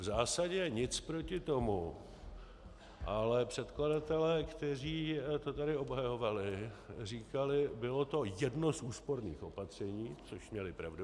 V zásadě nic proti tomu, ale předkladatelé, kteří to tady obhajovali, říkali: bylo to jedno z úsporných opatření, což měli pravdu.